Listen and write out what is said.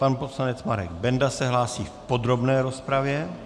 Pan poslanec Marek Benda se hlásí v podrobné rozpravě.